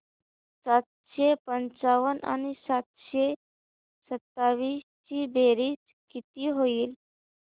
सातशे पंचावन्न आणि सातशे सत्तावीस ची बेरीज किती होईल